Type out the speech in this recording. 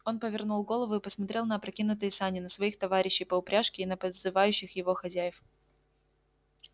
он повернул голову и посмотрел на опрокинутые сани на своих товари-щей по упряжке и на подзывающих его хозяев